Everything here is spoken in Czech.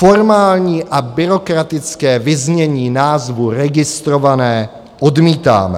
Formální a byrokratické vyznění názvu registrované odmítáme.